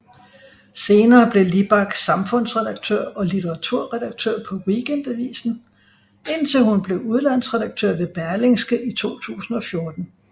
Senere blev Libak samfundsredaktør og litteraturredaktør på Weekendavisen indtil hun blev udlandsredaktør ved Berlingske i 2014